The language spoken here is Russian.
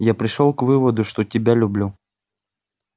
я пришёл к выводу что тебя люблю